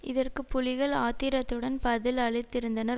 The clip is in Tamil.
இதற்கு புலிகள் ஆத்திரத்துடன் பதில் அளித்திருந்தனர்